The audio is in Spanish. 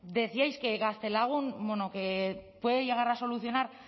decíais que gaztelagun bueno puede llegar a solucionar